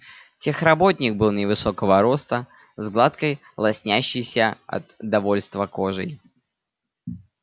техработник был невысокого роста с гладкой лоснящейся от довольства кожей